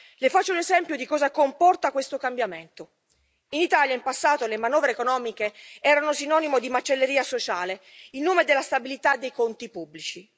Le faccio un esempio di cosa comporta questo cambiamento in Italia, in passato, le manovre economiche erano sinonimo di macelleria sociale in nome della stabilità dei conti pubblici.